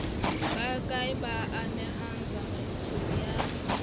bakae ba amehang tsamaisong ya